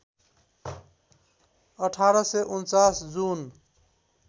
१८४९ जुन